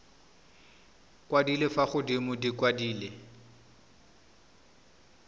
kwadilwe fa godimo di kwadilwe